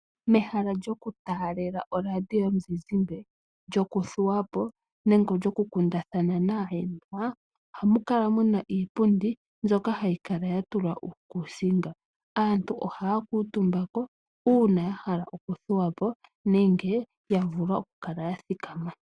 Mehala lyokutaalela oradio yomuzizimbe, lyokuthuwa po nenge lyokukundathana naahenwa ohamu kala mu na iipundi mbyono hayi kala ya tulwa uukuusinga. Aantu ohaa kuutumba ko uuna ya hala okuthuwa po nenge ya vulwa okuthikama.